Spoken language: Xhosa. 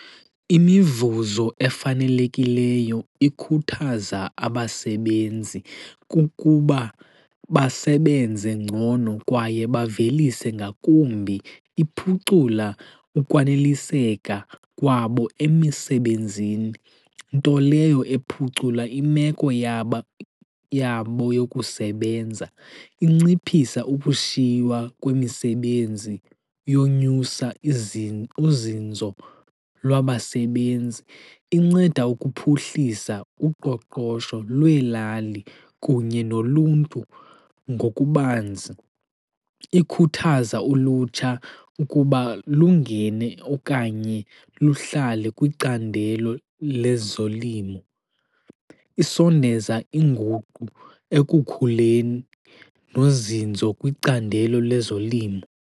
Imivuzo efanelekileyo ikhuthaza abasebenzi kukuba basebenze ngcono kwaye bavelise ngakumbi. Iphucula ukwaneliseka kwabo emisebenzini, nto leyo ephucula imeko yabo yokusebenza. Inciphisa ukushiywa kwemisebenzi yonyusa uzinzo lwabasebenzi. Inceda ukuphuhlisa uqoqosho lweelali kunye noluntu ngokubanzi. Ikhuthaza ulutsha ukuba lungene okanye luhlale kwicandelo lezolimo. Isondeza inguqu ekukhuleni nozinzo kwicandelo lezolimo.